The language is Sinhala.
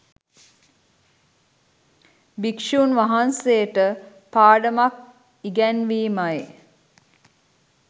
භික්‍ෂූන් වහන්සේට පාඩමක් ඉගැන්වීමයි